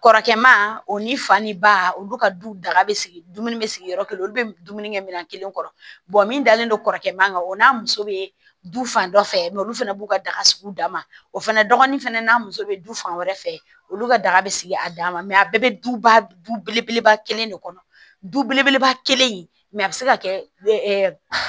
Kɔrɔkɛma o ni fani ba olu ka du daga bɛ sigi dumuni bɛ sigi yɔrɔ kelen olu bɛ dumuni kɛ minɛn kelen kɔrɔ min dalen don kɔrɔkɛma kan o n'a muso bɛ du fan dɔ fɛ olu fana b'u ka daga sigi u da ma o fana dɔgɔnin fana n'a muso bɛ du fan wɛrɛ fɛ olu ka daga bɛ sigi a dama a bɛɛ bɛ du ba duba kelen de kɔnɔ duba kelen in a bɛ se ka kɛ